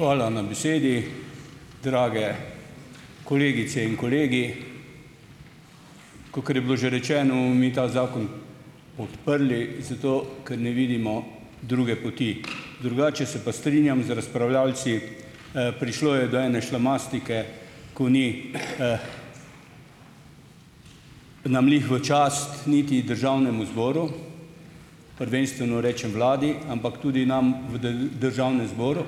Hvala na besedi. Drage kolegice in kolegi. Kakor je bilo že rečeno, bomo mi ta zakon podprli zato, ker ne vidimo druge poti. Drugače se pa strinjam z razpravljavci, prišlo je do ene šlamastike, ko ni nam glih v čast niti Državnemu zboru, prvenstveno rečem Vladi, ampak tudi nam v Državnem zboru,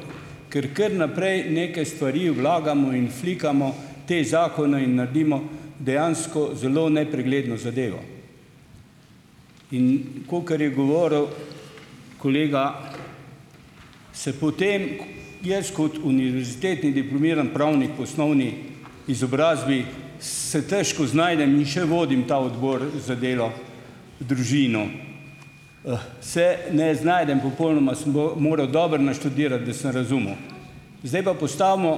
ker kar naprej neke stvari vlagamo in flikamo te zakone in naredimo dejansko zelo nepregledno zadevo. In kakor je govoril kolega, se potem jaz kot univerzitetni diplomiran pravnik v osnovni izobrazbi se težko znajdem in še vodim ta Odbor za delo, družino, se ne znajdem popolnoma, sem moral dobro naštudirati, da sem razumel. Zdaj pa postavimo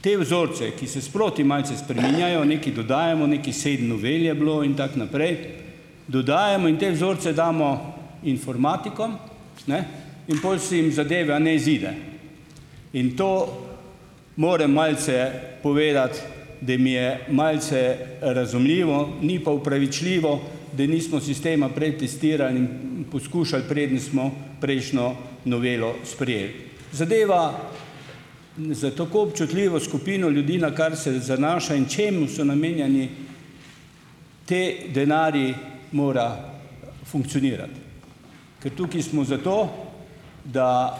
te vzorce, ki se sproti malce spreminjajo, nekaj dodajamo, nekih sedem novel je bilo in tako naprej, dodajamo in te vzorce damo informatikom ne in pol se jim zadeva ne izide. In to moram malce povedati, da jim je malce razumljivo, ni pa opravičljivo, da nismo sistema prej testirali in poskušali, preden smo prejšnjo novelo sprejeli. Zadeva za tako občutljivo skupino ljudi, na kar se zanaša in čemu so namenjeni ti denarji, mora funkcionirati, ker tukaj smo zato, da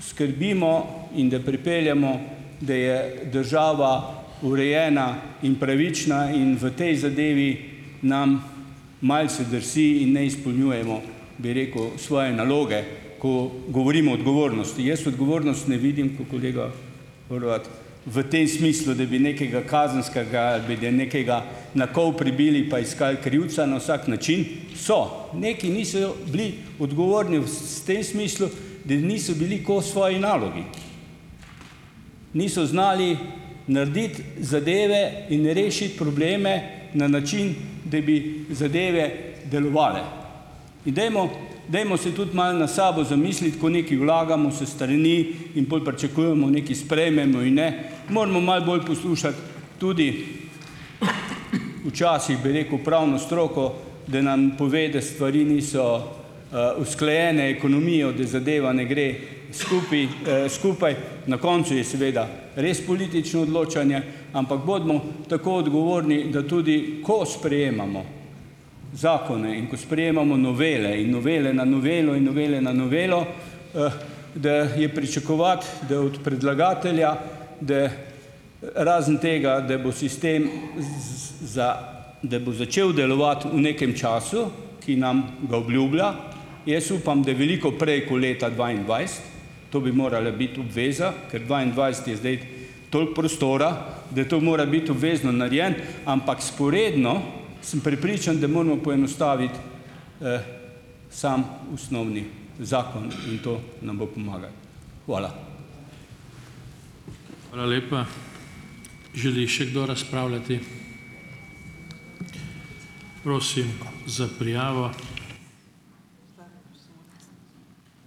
skrbimo in da pripeljemo, da je država urejena in pravična in v tej zadevi nam malce drsi in ne izpolnjujemo, bi rekel, svoje naloge, ko govorimo o odgovornosti. Jaz odgovornost ne vidim kot kolega Horvat v tem smislu, da bi nekega kazenskega ali da bi nekega na kol pribili pa iskal krivca na vsak način. So, nekaj niso bili odgovorni v tem smislu, da niso bili kos svoji nalogi, niso znali narediti zadeve in rešiti probleme na način, da bi zadeve delovale. In dajmo dajmo se tudi malo notri sabo zamisliti, ko nekaj vlagamo s strani in pol pričakujemo, nekaj sprejmemo in ne, moramo malo bolj poslušati tudi včasih, bi rekel, pravno stroko, da nam pove, da stvari niso usklajene, ekonomijo, da zadeva ne gre skupaj skupaj. Na koncu je seveda res politično odločanje, ampak bodimo tako odgovorni, da tudi, ko sprejemamo zakone in ko sprejemamo novele in novele na novelo in novele na novelo, da je pričakovati, da od predlagatelja, da razen tega, da bo sistem da bo začel delovati v nekem času, ki nam ga obljublja, jaz upam, da veliko prej ko leta dvaindvajset, to bi morala biti obveza, ker dvaindvajseti je zdaj toliko prostora, da to mora biti obvezno narejeno, ampak vzporedno sem prepričan, da moramo poenostaviti samo osnovni zakon in to nam bo pomagalo. Hvala.